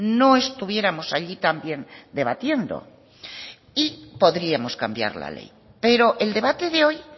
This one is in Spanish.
no estuviéramos allí también debatiendo y podríamos cambiar la ley pero el debate de hoy